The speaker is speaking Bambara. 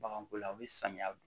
Baganko la u bɛ samiya don